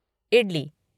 idli